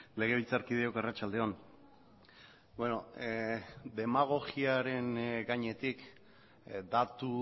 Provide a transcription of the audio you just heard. legebiltzarkideok arratsalde on demagogiaren gainetik datu